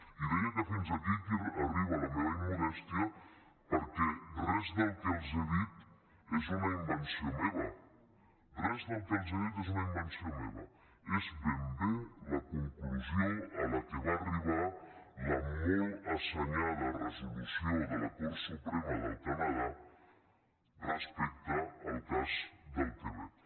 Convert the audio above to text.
i deia que fins aquí arriba la meva immodèstia perquè res del que els he dit és una invenció meva res del que els he dit és una invenció meva és ben bé la conclusió a què va arribar la molt assenyada resolució de la cort suprema del canadà respecte al cas del quebec